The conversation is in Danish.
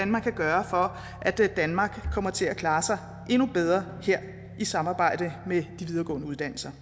man kan gøre for at danmark kommer til at klare sig endnu bedre her i samarbejde med de videregående uddannelser